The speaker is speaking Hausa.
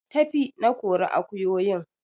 Tafi! Na kori akuyoyin